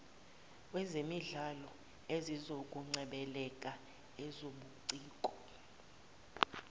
wezemidlalo ezokungcebeleka ezobuciko